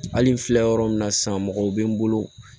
Hali n filɛ yɔrɔ min na sisan mɔgɔw bɛ n bolo